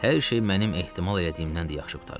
Hər şey mənim ehtimal elədiyimdən də yaxşı qurtarıb.